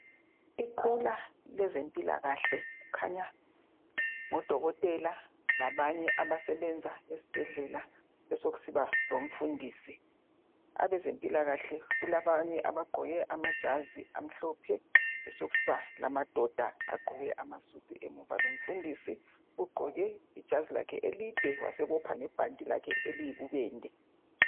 Iqula lezempilkahle kukhanya ngodokotela labanye abasebenza esibhedlela besokusiba lomfundisi. Abezempilakahle kulabanye abagqoke amajazi amhlophe besokusiba lamadoda agqoke amasudu emuva lomfundisi ugqoke ijazi lakhe elide wasebopha ngebhanti lakhe eliyibubende.